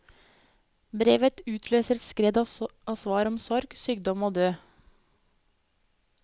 Brevet utløser et skred av svar om sorg, sykdom og død.